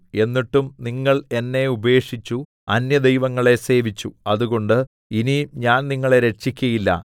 എന്നിട്ടും നിങ്ങൾ എന്നെ ഉപേക്ഷിച്ചു അന്യദൈവങ്ങളെ സേവിച്ചു അതുകൊണ്ട് ഇനി ഞാൻ നിങ്ങളെ രക്ഷിക്കയില്ല